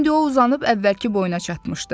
İndi o uzanıb əvvəlki boyuna çatmışdı.